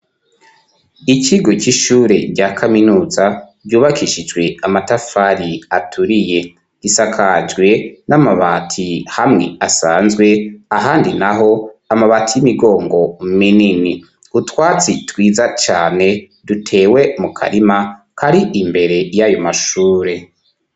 Ikigo c'ishure rya kaminuza, ryubakishijwe amatafari aturiye gisakajwe n'amabati hamwe asanzwe ahandi naho amabati y'imigongo minini utwatsi twiza cyane dutewe mu karima kari imbere y'ayo mashure.